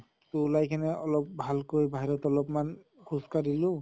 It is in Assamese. তʼ ওলাই কিনে অলপ ভালকৈ বাহিৰত অলপ্মান খোজ কাঢ়িলো